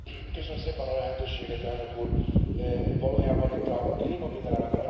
Valójában itt a klímavédelem nemzetközi vagy globális aspektusairól van szó.